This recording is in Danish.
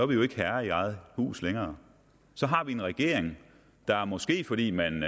vi jo ikke herre i eget hus længere så har vi en regering måske fordi man